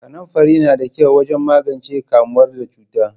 Kanamfari na da kyau wajen magance kamuwa da cuta.